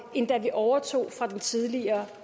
end da vi overtog fra den tidligere